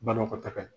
Banakɔtaga ye